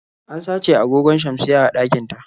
An sace agogon shamsiyya a ɗakin ta.